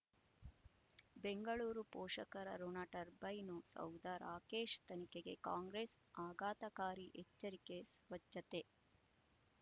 ಬೆಂಗಳೂರು ಪೋಷಕರಋಣ ಟರ್ಬೈನು ಸೌಧ ರಾಕೇಶ್ ತನಿಖೆಗೆ ಕಾಂಗ್ರೆಸ್ ಆಘಾತಕಾರಿ ಎಚ್ಚರಿಕೆ ಸ್ವಚ್ಛತೆ